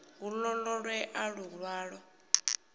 hu ḓo ṱo ḓea luṅwalo